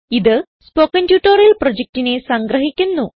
ഇത് spoken tutorial പ്രൊജക്റ്റിനെ സംഗ്രഹിക്കുന്നു